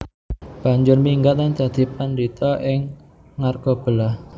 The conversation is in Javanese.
Banjur minggat lan dadi padhita ing Argabelah